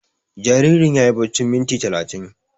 Jaririn yayi baccin minti talatin